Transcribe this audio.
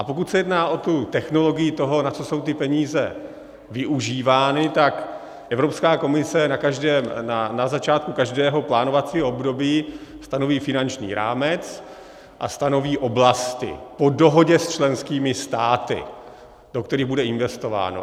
A pokud se jedná o tu technologii toho, na co jsou ty peníze využívány, tak Evropská komise na začátku každého plánovacího období stanoví finanční rámec a stanoví oblasti po dohodě s členskými státy, do kterých bude investováno.